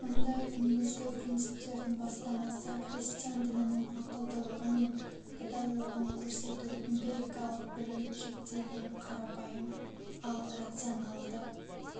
ондай негізгі принциптердің бастамасы христиан дінінің ақылдылығы мен пайдалылығын көрсету эмпирикалык білім шектелген қарапайым ал рационалды